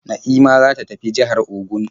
Na'ima za ta tafi jihar Ogun.